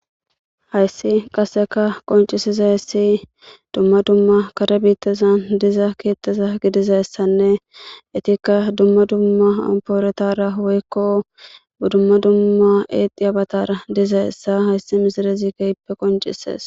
hayssi qaseka qoncisizahyssi dumma dumma kare biittezan diza kietteza gidizayessanne itikka dumma dumma ampooretara woykko budumma dumma eexi abatara dizayessa hayssi misirezi keyippe qoncisees